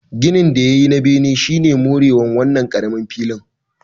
Ginin da ya yi na bene shi ne more wa wannan ƙaramin filin